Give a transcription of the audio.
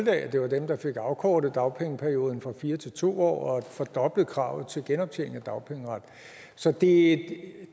af at det var dem der fik afkortet dagpengeperioden fra fire til to år og fordoblet kravet til genoptjening af dagpengeret så det